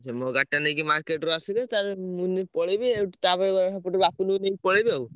ସେ ମୋ ଗାଡିଟା ନେଇକି market ରୁ ଆସିବେ, ତାହେଲେ ମୁଁ ନେଇ ପଳେଇବି ଆଉ ତାପରେ ସେପଟୁ ବାପୁନୁ କୁ ନେଇ ପଳେଇବି ଆଉ।